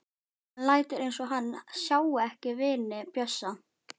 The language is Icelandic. Hann lætur eins og hann sjái ekki vini Bjössa.